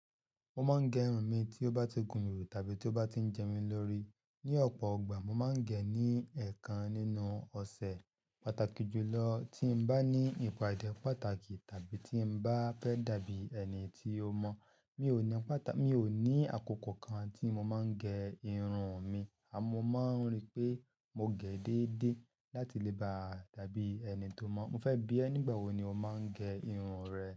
Mo máa ń gẹ irun mi tí ó bá ti gùn mí tàbí tí ó bá ti ń jẹ mí lórí. Ni ọ̀pọ̀ igbà, mo máa ń gẹ́ ní ẹ̀ẹ̀kan nínú ọ̀sẹ̀. Pátákì jùlọ tí n bá ní ìpàdé pàtàkì tàbí tí n bá fẹ́ dàbí ẹni tí ó mọ́. Mi ò ní àkókò kan tí mo máa ń gẹ irun mi, àmọ́ mo máa ń rí pé mo gẹ́ déédéé láti lè ba à dàbí ẹni tó mọ́. Mo fẹ́ bí ẹ nígbà wo ni o máa ń gẹ irun rẹ?